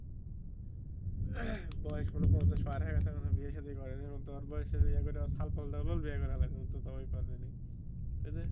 বয়স মনে হয়ই পঞ্চাশ পার হয়ে গেছে এখনও বিয়ে সাধি করে নাই কিন্তু ওর বয়সের